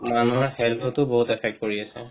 মানুহৰ health তো বহুত effect কৰি আছে